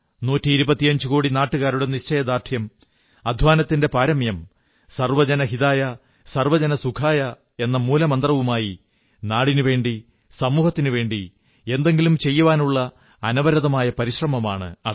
നൂറ്റിഇരുപത്തിയഞ്ചുകോടി നാട്ടുകാരുടെ നിശ്ചയദാർഢ്യം അദ്ധ്വാനത്തിന്റെ പാരമ്യം സർവ്വജന ഹിതായ സർവ്വജനസുഖായ എന്ന മൂലമന്ത്രവുമായി നാടിനുവേണ്ടി സമൂഹത്തിനുവേണ്ടി എന്തെങ്കിലും ചെയ്യുവാനുള്ള അനവരതമായ പരിശ്രമമാണ് അത്